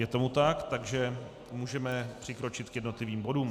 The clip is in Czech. Je tomu tak, takže můžeme přikročit k jednotlivým bodům.